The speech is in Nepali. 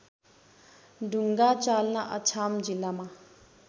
ढु्ङ्गाचाल्ना अछाम जिल्लामा